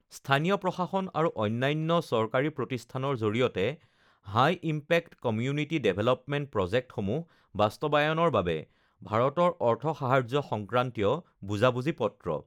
স্থানীয় প্ৰশাসন আৰু অন্যান্য চৰকাৰী প্ৰতিষ্ঠানৰ জৰিয়তে হাই ইম্প্যেক্ট কমিউনিটি ডেভলপমেন্ট প্ৰজেক্টসমূহ বাস্তৱায়নৰ বাবে ভাৰতৰ অৰ্থসাহায্য সংক্ৰান্তীয় বুজাবুজি পত্ৰ